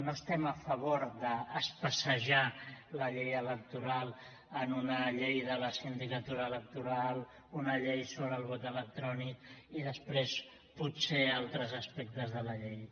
no estem a favor d’especejar la llei electoral en una llei de la sindicatura electoral una llei sobre el vot electrònic i després potser altres aspectes de la llei